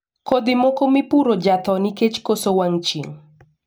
Kodhi moko mipuro jathoo nikeche koso wang' chieng'